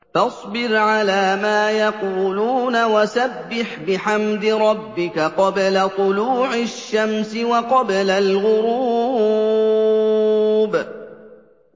فَاصْبِرْ عَلَىٰ مَا يَقُولُونَ وَسَبِّحْ بِحَمْدِ رَبِّكَ قَبْلَ طُلُوعِ الشَّمْسِ وَقَبْلَ الْغُرُوبِ